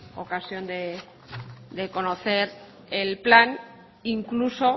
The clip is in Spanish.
ocasión de conocer el plan incluso